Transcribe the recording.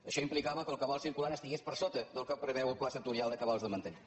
això implicava que el cabal circulant estigués per sota del que preveu el pla sectorial de cabals de manteniment